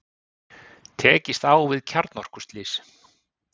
Tekist á við kjarnorkuslys